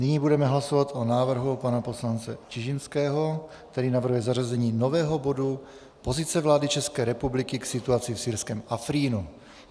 Nyní budeme hlasovat o návrhu pana poslance Čižinského, který navrhuje zařazení nového bodu Pozice vlády České republiky k situaci v syrském Afrínu.